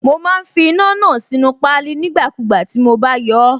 Mo má ń fi iná náà sínú páálí nígbàkúùgbà tí mo bá yọọ́.